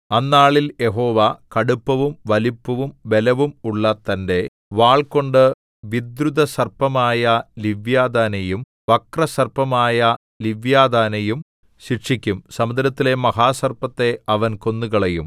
അന്നാളിൽ യഹോവ കടുപ്പവും വലിപ്പവും ബലവും ഉള്ള തന്റെ വാൾകൊണ്ടു വിദ്രുതസർപ്പമായ ലിവ്യാഥാനെയും വക്രസർപ്പമായ ലിവ്യാഥാനെയും ശിക്ഷിക്കും സമുദ്രത്തിലെ മഹാസർപ്പത്തെ അവൻ കൊന്നുകളയും